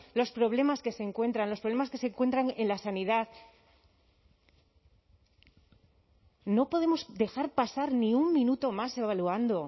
los problemas que se encuentran los problemas que se encuentran en la sanidad no podemos dejar pasar ni un minuto más evaluando